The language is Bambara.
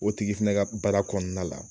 O tigi fɛnɛ ka baara kɔnɔna la.